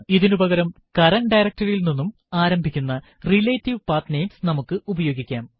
ഇതിനു പകരം current directory യിൽ നിന്നും ആരംഭിക്കുന്ന റിലേറ്റീവ് പത്നമേസ് നമുക്ക് ഉപയോഗിക്കാം